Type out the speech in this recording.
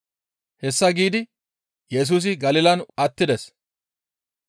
Hessa giidi Yesusi Galilan attides.